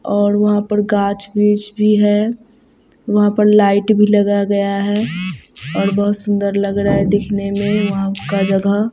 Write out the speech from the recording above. और वहां पर गाछ-वृछ भी है वहां पर लाइट भी लगा गया है और बहोत सुंदर लग रहा है दिखने में वहां का जगह।